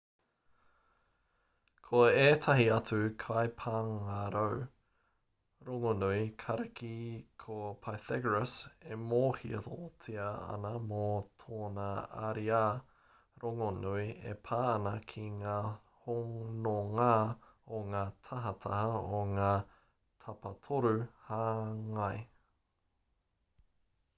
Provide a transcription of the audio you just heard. ko ētahi atu kaipāngarau rongonui kariki ko pythagoras e mōhiotia ana mō tōna ariā rongonui e pā ana ki ngā hononga o ngā tahataha o ngā tapatoru hāngai